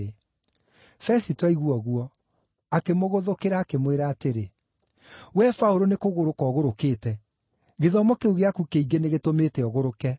Fesito aigua ũguo, akĩmũgũthũkĩra akĩmwĩra atĩrĩ, “Wee Paũlũ nĩkũgũrũka ũgũrũkĩte! Gĩthomo kĩu gĩaku kĩingĩ nĩgĩtũmĩte ũgũrũke.”